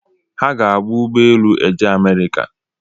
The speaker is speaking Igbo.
Ha ga-aba ụgbọelu eje amerika